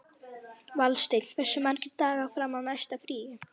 Valsteinn, hversu margir dagar fram að næsta fríi?